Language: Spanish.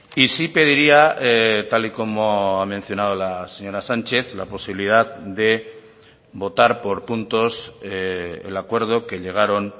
y sí pediría tal y como ha mencionado la señora sánchez la posibilidad de votar por puntos el acuerdo que llegaron